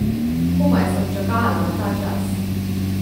Komaj sem čakala na ta čas.